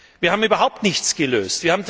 Wir haben überhaupt nichts gelöst.